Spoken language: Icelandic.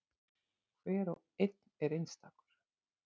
Hver og einn er einstakur.